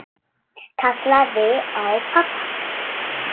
Kallaði á pabba.